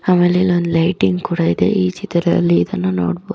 ಆಮೇಲೆ ಇಲ್ಲಿ ಒಂದು ಲೈಟಿಂಗ್‌